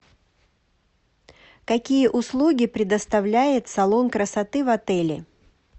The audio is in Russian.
какие услуги предоставляет салон красоты в отеле